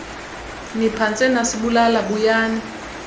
niphantse nasibulala buyani